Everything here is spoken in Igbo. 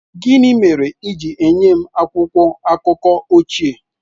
Gịnị mere i ji nye m akwụkwọ akụkọ ochie?